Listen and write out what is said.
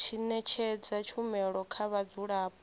tshi ṅetshedza tshumelo kha vhadzulapo